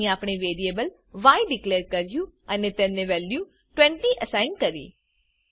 અહી આપણે વેરીએબલ ય ડીકલેર કર્યું અને તેને વેલ્યુ 20 અસાઇન કરી